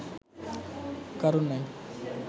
কারণ নাই